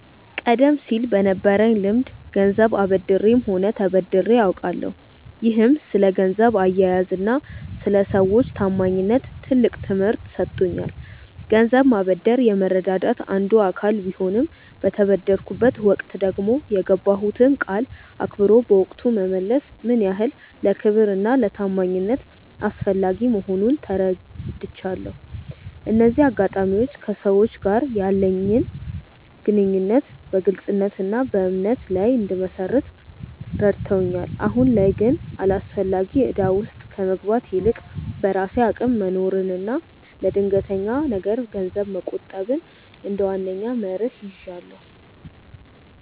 ቀደም ሲል በነበረኝ ልምድ ገንዘብ አበድሬም ሆነ ተበድሬ አውቃለሁ፤ ይህም ስለ ገንዘብ አያያዝና ስለ ሰዎች ታማኝነት ትልቅ ትምህርት ሰጥቶኛል። ገንዘብ ማበደር የመረዳዳት አንዱ አካል ቢሆንም፣ በተበደርኩበት ወቅት ደግሞ የገባሁትን ቃል አክብሮ በወቅቱ መመለስ ምን ያህል ለክብርና ለታማኝነት አስፈላጊ መሆኑን ተረድቻለሁ። እነዚህ አጋጣሚዎች ከሰዎች ጋር ያለኝን ግንኙነት በግልጽነትና በእምነት ላይ እንድመሰርት ረድተውኛል። አሁን ላይ ግን አላስፈላጊ እዳ ውስጥ ከመግባት ይልቅ፣ በራሴ አቅም መኖርንና ለድንገተኛ ነገር ገንዘብ መቆጠብን እንደ ዋነኛ መርህ ይዣለሁ።